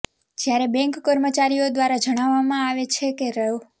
જ્યારે બેંક કર્મચારીઓ દ્વારા જણાવવામાં આવે છે કે રૃા